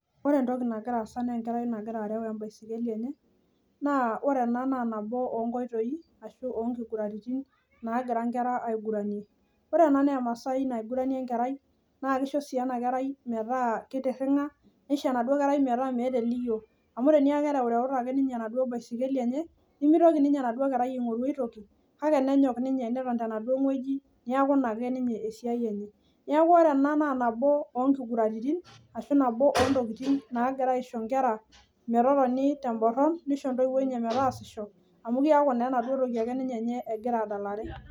Ore entoki aas naa enkerai nagira areu e baiskeli, naa ore ena naa nabo oo ngiguraritin naagira nkera aiguranie naa keisho sii ena kerai metaa meeta eliyio. Neeku engiguran naisho nkera metotona teborron neisho ntoiwuo metaasisho naa keret ina niche katukul.